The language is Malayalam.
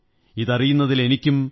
ഇതറിയുന്നതിൽ എനിക്കും എത്ര